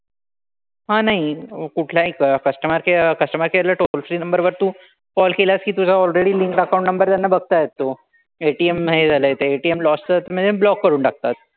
हां नाही कुठल्याही customer care customer care ला toll free number वर तू call केलास कि तुझा already linked account number त्यांना बघता येतो. ATM हे झालंय ते ATM loss म्हणजे block करून टाकतात.